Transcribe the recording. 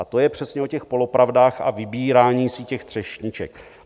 A to je přesně o těch polopravdách a vybírání si těch třešniček.